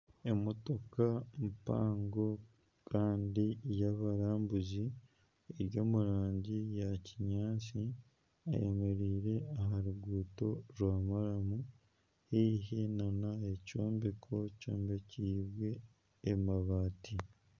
Emotoka mpango kandi y'abarambuzi, eri omu rangi ya kinyaatsi kandi eyemereire omu ruguuto rwa maramu haihi nana ekyombeko kyombekibwe amabati